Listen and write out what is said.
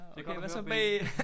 Det godt hvad så b!